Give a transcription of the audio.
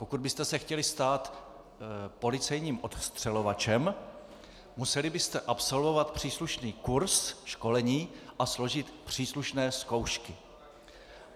Pokud byste se chtěli stát policejním odstřelovačem, museli byste absolvovat příslušný kurs, školení a složit příslušné zkoušky.